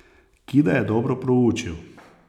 Kida je dobro proučil.